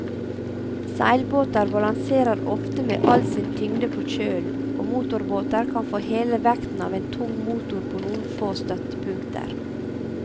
Seilbåter balanserer ofte med all sin tyngde på kjølen, og motorbåter kan få hele vekten av en tung motor på noen få støttepunkter.